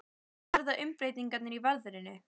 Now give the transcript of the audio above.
Það verða umbreytingar í veðrinu.